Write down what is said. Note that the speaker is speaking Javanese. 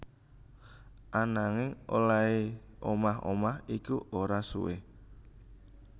Ananging olèhé omah omah iku ora suwé